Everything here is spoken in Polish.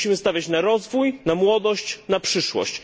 Musimy stawiać na rozwój, młodość i przyszłość.